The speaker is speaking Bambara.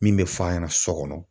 Min bɛ f'a ɲɛna so kɔnɔ.